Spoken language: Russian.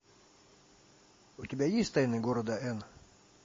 у тебя есть тайны города эн